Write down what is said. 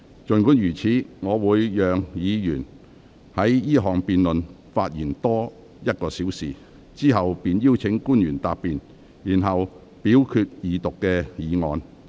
儘管如此，我會讓議員就二讀辯論發言多1小時，之後便會邀請官員答辯，然後表決二讀議案。